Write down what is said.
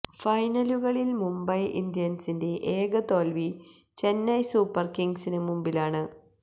ഫൈനലുകളില് മുംബൈ ഇന്ത്യന്സിന്റെ ഏക തോൽവി ചെന്നൈ സൂപ്പര് കിംഗ്സിന് മുമ്പിലാണ്